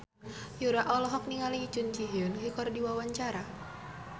Yura olohok ningali Jun Ji Hyun keur diwawancara